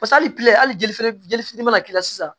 hali hali fɛnɛ jeli fitini mana k'i la sisan